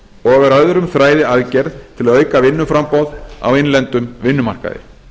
og er öðrum þræði aðgerð til að auka vinnuframboð á innlendum vinnumarkaði